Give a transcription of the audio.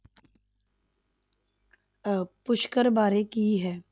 ਅਹ ਪੁਸ਼ਕਰ ਬਾਰੇ ਕੀ ਹੈ।